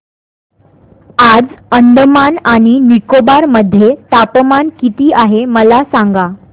आज अंदमान आणि निकोबार मध्ये तापमान किती आहे मला सांगा